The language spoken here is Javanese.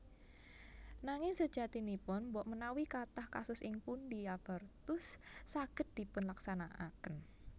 Nanging sajatinipun mbokmenawi kathah kasus ing pundi abortus saged dipunlaksanakaken